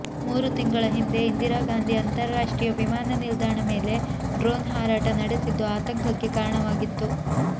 ಮೂರು ತಿಂಗಳ ಹಿಂದೆ ಇಂದಿರಾ ಗಾಂಧಿ ಅಂತರರಾಷ್ಟ್ರೀಯ ವಿಮಾನ ನಿಲ್ದಾಣ ಮೇಲೆ ಡ್ರೋನ್ ಹಾರಾಟ ನಡೆಸಿದ್ದು ಆತಂಕಕ್ಕೆ ಕಾರಣವಾಗಿತ್ತು